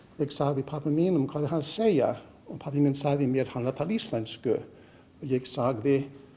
ég sagði pabba mínum hvað er hann segja og pabbi minn sagði mér hann er að tala íslensku ég sagði